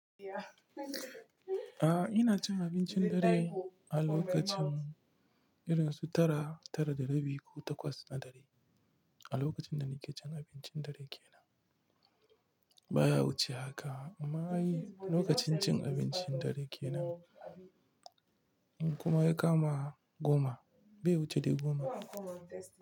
Aa, ina cin abincin dare a lokacin irin su tara, tara da rabi ko takwas na dare. A lokacin da nake cin abincin dare kenan baya wuce haka amma lokacin cin abincin dare kenan kuma ya kama goma, bai wuce dai goma.